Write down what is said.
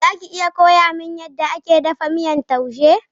Za ki iya koya min yadda ake dafa miyar taushe?